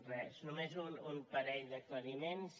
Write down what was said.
res només un parell d’aclariments